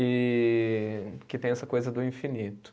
E. Que tem essa coisa do infinito.